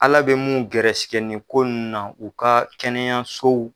ALA bɛ mun gɛrɛsɛgɛ nin ko nunu na u ka kɛnɛyasow.